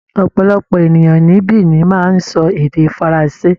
Ọ̀pọ̀lọpọ̀ ènìyàn ní Benin máa ń sọ èdè faransé.